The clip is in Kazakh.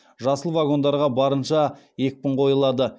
жасыл вагондарға барынша екпін қойылады